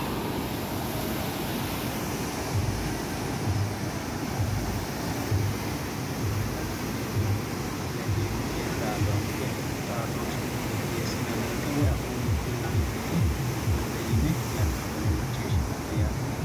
Mittoricho odeessate yaate anfoonnikkiha reqecci assine dagate leellanno gede televizhiinete radoonete woyi tuqu xadooshshinni odeessinanni woyiite woyi afuunni kullanni woyiite odoote yine yanna uyiine macciishshinanni yaate